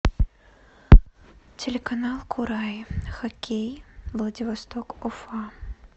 телеканал курай хоккей владивосток уфа